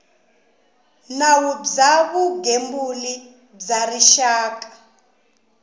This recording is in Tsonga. nawu bya vugembuli bya rixaka